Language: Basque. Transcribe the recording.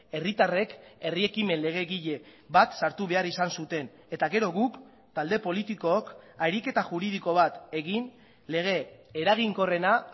herritarrek herri ekimen legegile bat sartu behar izan zuten eta gero guk talde politikook ariketa juridiko bat egin lege eraginkorrena